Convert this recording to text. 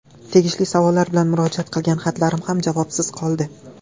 Tegishli savollar bilan murojaat qilgan xatlarim ham javobsiz qoldi.